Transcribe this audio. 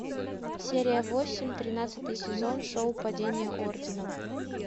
серия восемь тринадцатый сезон шоу падение ордена